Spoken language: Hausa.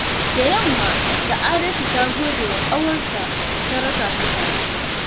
Da yamma, Sa'adatu ta gode wa ƙawarta da ta raka ta kasuwa.